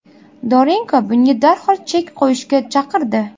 Dorenko bunga darhol chek qo‘yishga chaqirdi.